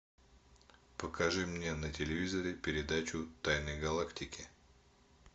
покажи мне на телевизоре передачу тайны галактики